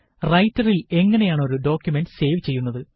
റൈറ്ററില് എങ്ങനെയാണ് ഒരു document save ചെയ്യുന്നത്